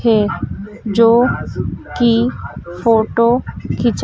है जो की फोटो खींचा--